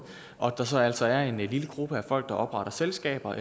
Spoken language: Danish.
og at der så altså er en lille gruppe af folk der opretter selskaber